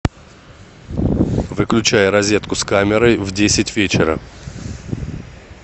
выключай розетку с камерой в десять вечера